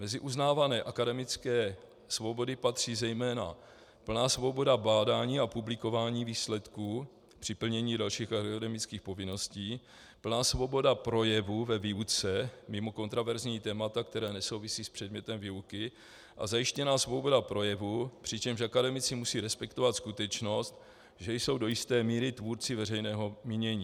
Mezi uznávané akademické svobody patří zejména plná svoboda bádání a publikování výsledků při plnění dalších akademických povinností, plná svoboda projevu ve výuce mimo kontroverzní témata, která nesouvisí s předmětem výuky, a zajištěná svoboda projevu, přičemž akademici musí respektovat skutečnost, že jsou do jisté míry tvůrci veřejného mínění.